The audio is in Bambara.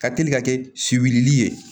Ka teli ka kɛ si wili ye